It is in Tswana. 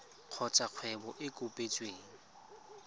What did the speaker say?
kgotsa kgwebo e e kopetsweng